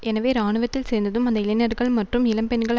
எனவே இராணுவத்தில் சேர்ந்ததும் அந்த இளைஞர்கள் மற்றும் இளம் பெண்கள்